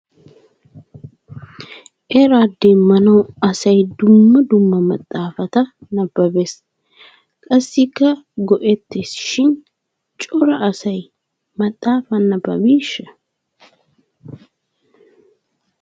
Era demmanaw asay dumma dumma maxaafata nababes. Qassikka go"ettishin cora asay maxaafa nababbisha?